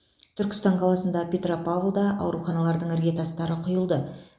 түркістан қаласында петропавлда ауруханалардың іргетастары құйылды